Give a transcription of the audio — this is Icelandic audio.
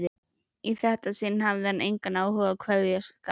Í þetta sinn hafði hann engan áhuga á kveðskap.